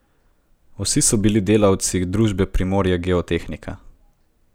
Vsi so bili delavci družbe Primorje Geotehnika.